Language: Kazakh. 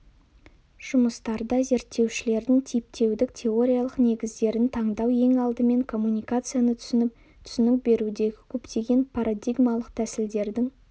жұмыстарда зерттеушілердің типтеудің теориялық негіздерін таңдау ең алдымен коммуникацияны түсініп түсінік берудегі көптеген парадигмалық тәсілдердің